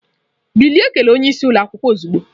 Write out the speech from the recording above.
Bilie kelee onye isi ụlọ akwụkwọ ozugbo!